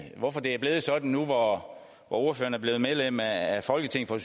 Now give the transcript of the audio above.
hvorfor det er blevet sådan nu hvor ordføreren er blevet medlem af folketinget for